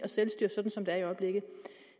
selvstyre sådan som det er i øjeblikket